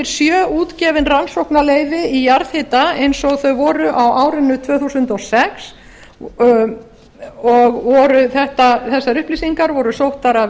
sjö útgefin rannsóknarleyfi í jarðhita eins og þau voru á árinu tvö þúsund og sex þessar upplýsingar voru sóttar af